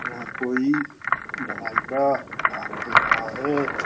यहाँ कोई दवाई का काम हो रहा है।